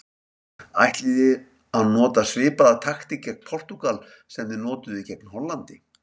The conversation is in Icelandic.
Ætlið þið að nota svipaða taktík gegn Portúgal sem þið notuðuð gegn Hollandi?